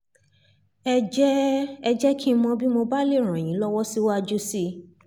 ẹ jẹ́ ẹ jẹ́ kí n mọ̀ bí mo bá lè ràn yín lọ́wọ́ síwájú sí i